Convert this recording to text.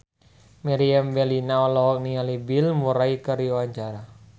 Meriam Bellina olohok ningali Bill Murray keur diwawancara